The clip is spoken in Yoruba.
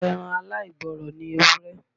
Ẹran aláìgbọ́ràn ni ewúré.